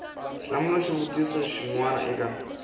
hlamula xivutiso xin we eka